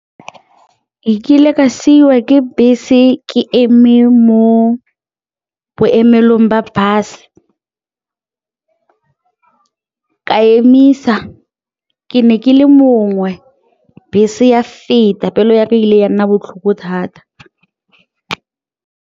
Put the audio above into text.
Ke kile ka siiwa ke bese ke eme mo boemelong ba bus, ka emisa, ke ne ke le mongwe bese ya feta, pelo ya ka ile ya nna botlhoko thata.